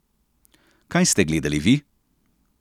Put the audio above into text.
Kaj ste gledali vi?